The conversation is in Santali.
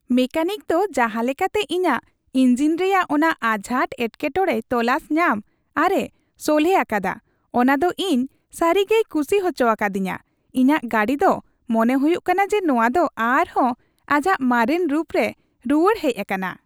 ᱢᱮᱠᱮᱱᱤᱠ ᱫᱚ ᱡᱟᱦᱟᱸ ᱞᱮᱠᱟᱛᱮ ᱤᱧᱟᱹᱜ ᱤᱧᱡᱤᱱ ᱨᱮᱭᱟᱜ ᱚᱱᱟ ᱟᱡᱷᱟᱴ ᱮᱴᱠᱮ ᱴᱚᱲᱮᱭ ᱛᱚᱞᱟᱥ ᱧᱟᱢ ᱟᱨᱮ ᱥᱚᱞᱦᱮ ᱟᱠᱟᱫᱟ ᱚᱱᱟᱫᱚ ᱤᱧ ᱥᱟᱹᱨᱤᱜᱮᱭ ᱠᱩᱥᱤ ᱦᱚᱪᱚ ᱟᱠᱟᱫᱤᱧᱟᱹ ; ᱤᱧᱟᱹᱜ ᱜᱟᱹᱰᱤ ᱫᱚ ᱢᱚᱱᱮ ᱦᱩᱭᱩᱜ ᱠᱟᱱᱟ ᱡᱮ ᱱᱚᱶᱟ ᱫᱚ ᱟᱨᱦᱚᱸ ᱟᱡᱟᱜ ᱢᱟᱨᱮᱱ ᱨᱩᱯ ᱨᱮ ᱨᱩᱣᱟᱹᱲ ᱦᱮᱡ ᱟᱠᱟᱱᱟ ᱾